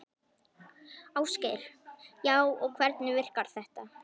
Ásgeir: Já, og hvernig virkar þetta?